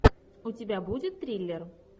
у тебя будет триллер